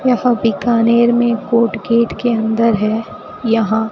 यहां बीकानेर में court gate के अंदर है यहां--